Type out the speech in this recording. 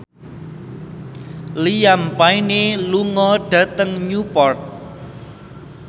Liam Payne lunga dhateng Newport